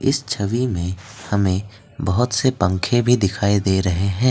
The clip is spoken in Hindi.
इस छवि में हमें बहुत से पंखे भी दिखाई दे रहे हैं।